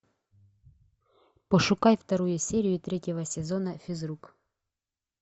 пошукай вторую серию третьего сезона физрук